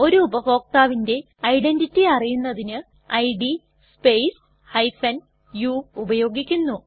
ഒരു ഉപഭോക്താവിന്റെ ഐഡന്റിറ്റി അറിയുന്നതിന് ഇഡ് സ്പേസ് u ഉപയോഗിക്കുന്നു